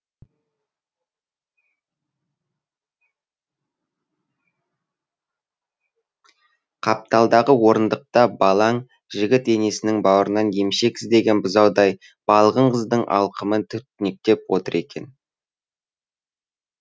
қапталдағы орындықта балаң жігіт енесінің баурынан емшек іздеген бұзаудай балғын қыздың алқымын түртінкетеп отыр екен